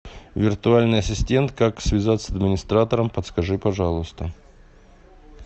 виртуальный ассистент как связаться с администратором подскажи пожалуйста